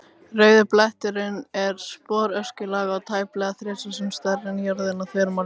Rauði bletturinn er sporöskjulaga og tæplega þrisvar sinnum stærri en jörðin að þvermáli.